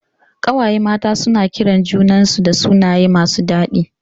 Ƙawaye mata suna kiran junan su da sunaye masu dadi